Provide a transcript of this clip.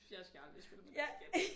Jeg skal aldrig spille med dig igen